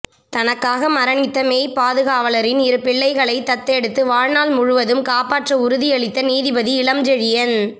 தனக்காக மரணித்த மெய்பாதுகவலரின் இரு பிள்ளைகளை தத்தெடுத்து வாழ் நாள் முழுவதும் காப்பாற்ற உறுதி அளித்த நீதிபதி இளம்செழியன்